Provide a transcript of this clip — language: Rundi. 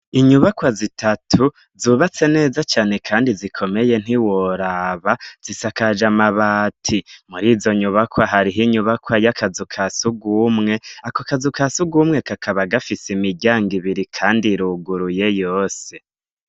Inyubakwa zitatu zubatse neza cane, kandi zikomeye ntiworaba zisakaje amabati muri izo nyubakwa hariho inyubakwa y'akazu ka sugumwe ako akazu ka sugumwe kakaba gafise imiryango ibiri, kandi iruguruye yose.